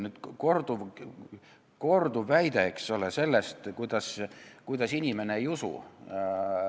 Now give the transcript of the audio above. Nüüd kõlab siin aga korduv väide, eks ole, et inimene ei usu seda asja.